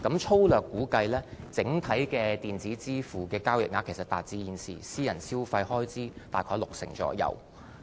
粗略估計，整體的電子支付交易額其實達致現時私人消費開支約六成。